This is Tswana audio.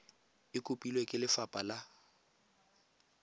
e kopilwe ke lefapha la